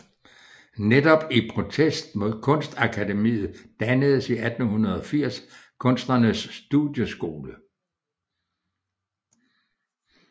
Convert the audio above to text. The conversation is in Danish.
Netop i protest mod Kunstakademiet dannedes i 1880 Kunsternes Studieskole